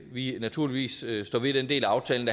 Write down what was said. vi naturligvis står ved den del af aftalen